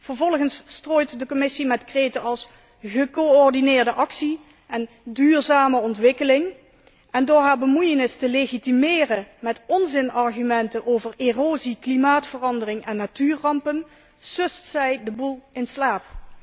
Vervolgens strooit de Commissie met kreten als 'gecoördineerde actie' en 'duurzame ontwikkeling' en door haar bemoeienis te legitimeren met onzinargumenten over erosie, klimaatverandering en natuurrampen sust zij de boel in slaap.